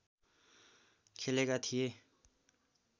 खेलेका थिए